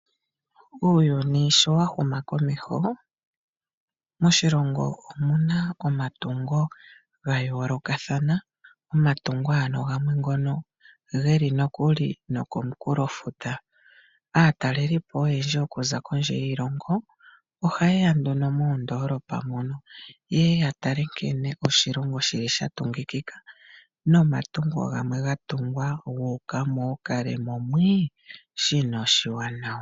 Uuyuni sho wa wuma komeho moshilongo omuna omatungo ga yo lokathana, omatungo ano gamwe ngono geli nokuli nokomunkulo futa. Aatalelipo oyendji oku za kondje yiilongo oha yeya nduno moondolopa mono, yeye ya tale nkene moshilongo shili shatungikika nomatungo gamwe ga tungwa gu uka mokalemo mwi shino oshiwanawa.